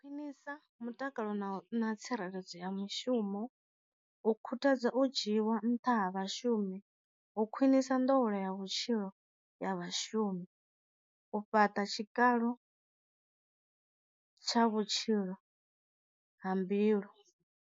Khwinisa mutakalo na na tsireledzo ya mushumo, u khuthadza o dzhiwa nṱha ha vhashumi, u khwinisa nḓowelo ya vhutshilo ya vhashumi, u fhaṱa tshikalo tsha vhutshilo ha mbilu.